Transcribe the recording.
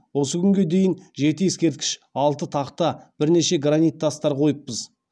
осы күнге дейін жеті ескерткіш алты тақта бірнеше гранит тастар қойыппыз